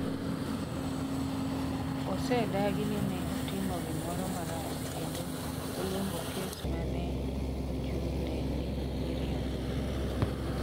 "Osedagi ni ne otimo gimoro marach kendo oluongo kes ma ne ochung'ne ni "miriambo".